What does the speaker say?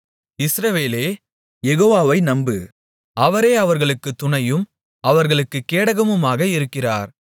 இஸ்ரவேலே யெகோவாவை நம்பு அவரே அவர்களுக்குத் துணையும் அவர்களுக்குக் கேடகமுமாக இருக்கிறார்